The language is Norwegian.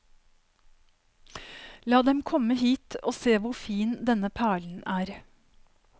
La dem komme hit og se hvor fin denne perlen er.